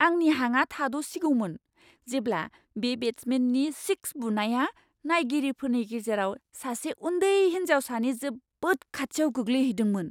आंनि हाङा थाद'सिगौमोन, जेब्ला बे बेट्समेननि सिक्स बुनाया नायगिरिफोरनि गेजेराव सासे उन्दै हिन्जावसानि जोबोद खाथियाव गोग्लैहैदोंमोन!